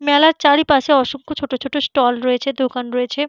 মেলার চারিপাশে অসংখ্য ছোট ছোট স্টল রয়েছেদোকান রয়েছে।